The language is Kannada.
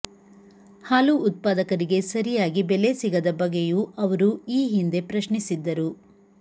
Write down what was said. ಹಾಲು ಉತ್ಪಾದಕರಿಗೆ ಸರಿಯಾಗಿ ಬೆಲೆ ಸಿಗದ ಬಗ್ಗೆಯೂ ಅವರು ಈ ಹಿಂದೆ ಪ್ರಶ್ನಿಸಿದ್ದರು